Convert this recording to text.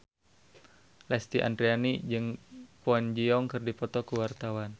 Lesti Andryani jeung Kwon Ji Yong keur dipoto ku wartawan